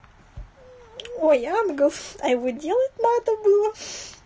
ой англ а его делать надо было